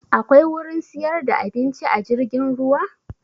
Akwai wurin siyar da abinci a jirgin ruwa?